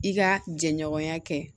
I ka jɛɲɔgɔnya kɛ